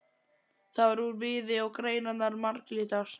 Það var úr viði og greinarnar marglitar.